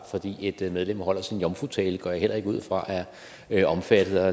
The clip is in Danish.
når et medlem holder sin jomfrutale går jeg heller ikke ud fra er omfattet af